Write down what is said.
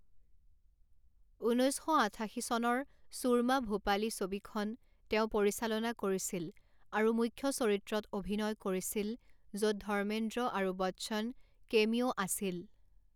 ঊনৈছ শ আঠাশী চনৰ ছুৰমা ভোপালী ছবিখন তেওঁ পৰিচালনা কৰিছিল আৰু মুখ্য চৰিত্ৰত অভিনয় কৰিছিল, য'ত ধৰ্মেন্দ্ৰ আৰু বচ্চন কেমিঅ' আছিল।